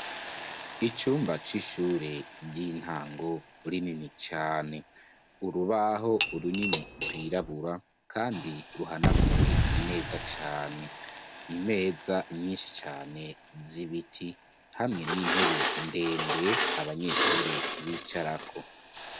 Icumba c'ishure ry'intango, rinini cane; urubaho runini, rwirabura, kandi ruhanaguwe neza cane, imeza nyinshi cane, z'ibiti, hamwe n'intebe ndende abanyeshure bicarako.